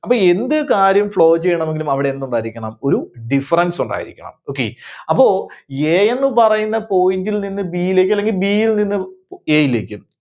അപ്പോ എന്ത് കാര്യം flow ചെയ്യണമെങ്കിലും അവിടെ എന്തുണ്ടായിരിക്കണം, ഒരു difference ഉണ്ടായിരിക്കണം. Okay. അപ്പോ A ന്നു പറയുന്ന point ൽ നിന്ന് B യിലേക്ക് അല്ലെങ്കിൽ B യിൽ നിന്നും A യിലേക്കും